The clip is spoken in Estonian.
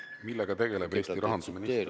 Millega tegeleb Eesti rahandusminister?